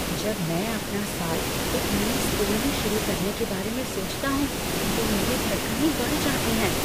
जब मैं अपना साल एक नए स्कूल में शुरू करने के बारे में सोचता हूँ तो मेरी धड़कनें बढ़ जाती हैं।